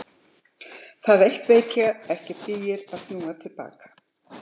Það eitt veit ég, að ekki dugar að snúa til baka.